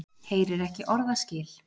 Heyrir ekki orðaskil.